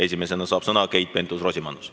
Esimesena saab sõna Keit Pentus-Rosimannus.